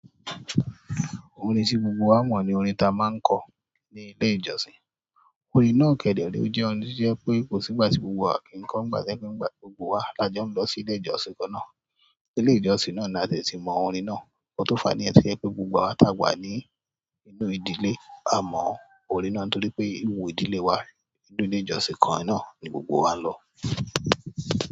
Orin tí gbogbo wa mọ̀ ni orin ta máa ń kọ́ ní ilé ìjọsìn. Orin náà kẹdẹrẹ, ó jẹ́ ohun tí jẹ́ pé kò sí ìgbà tí gbogbo wa kì ń kọ́ nígbà to je pe nígbà gbogbo wa la jẹ́ ń lọ sí ilé ìjọsìn kan náà. Sí ilé ìjọsìn náà ni a tẹ̀ tí mọ orin náà. Nkan fàní ẹ ti ẹ pé gbogbo wa tàwa ní inú ìdílé a mọ orin náà torí pé inú ìdílé wa, inú ilé ìjọsìn kan náà ni gbogbo wa ń lọ.